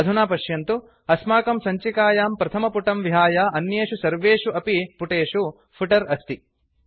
अधुना पश्यन्तु अस्माकं सञ्चिकायां प्रथमपुटं विहाय अन्येषु सर्वेषु अपि पुटेषु फुटर् अस्ति